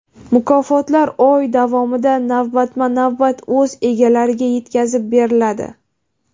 Mukofotlar oy davomida navbatma-navbat o‘z egalariga yetkazib beriladi.